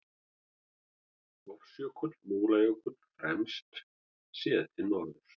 Hofsjökull, Múlajökull fremst, séð til norðurs.